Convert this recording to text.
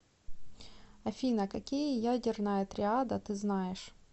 афина какие ядерная триада ты знаешь